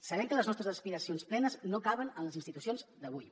sabem que les nostres aspiracions plenes no caben en les institucions d’avui